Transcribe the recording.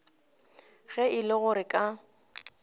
ge e le gore ka